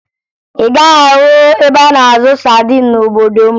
Ị gaghị ahụ ebe a na-azụ sadin n'obodo m